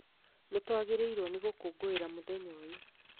Nĩtwagĩrĩirwo nĩ gũkũngũĩra mũthenya ũyũ